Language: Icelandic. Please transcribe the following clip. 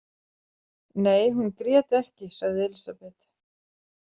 Nei, hún grét ekki, sagði Elísabet.